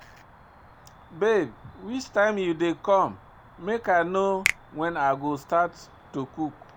Babe which time you dey come make I know when I go start to cook